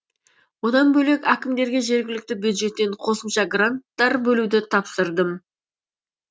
одан бөлек әкімдерге жергілікті бюджеттен қосымша гранттар бөлуді тапсырдым